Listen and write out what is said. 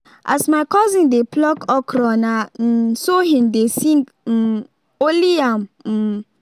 as my cousin dey pluck okra na um so him dey sing um only am um